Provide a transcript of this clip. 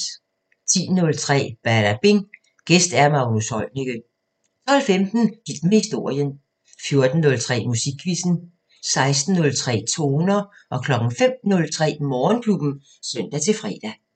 10:03: Badabing: Gæst Magnus Heunicke 12:15: Hit med historien 14:03: Musikquizzen 16:03: Toner 05:03: Morgenklubben (søn-fre)